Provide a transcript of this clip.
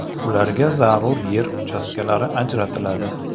Ularga zarur yer uchastkalari ajratiladi.